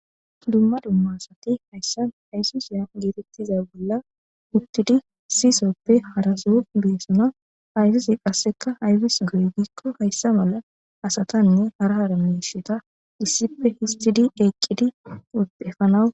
Dzumma dzumma asathi hayssa haysisiya geetheththiza bolla uththidi issi sohoppe hara soho boosona; haysuzee qasseka aybis go7ii giikko hayssa mala asathanne hara hara miishshetha issippe uththidi eqqidi.....efanawu...